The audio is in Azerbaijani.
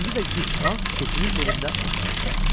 İndi də gic Hans keçinin belində otağa girdi.